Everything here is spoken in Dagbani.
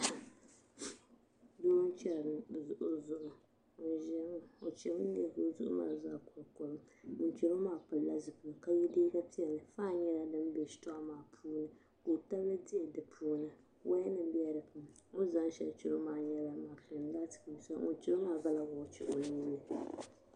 doo n-chari o zuɣu ŋun ʒiya ŋɔ o chami n-neei o zuɣu maa zaa kolikoli ŋun chari o maa pilila zipiligu ka ye liiga piɛlli fan nyɛla din be shitɔɣu maa puuni ka o tabili diɣi di puuni wayanima bela di puuni o ni zaŋ shɛli chari o maa nyɛla mashiin laati beni ŋun chari o maa gala wɔchi o nuu ni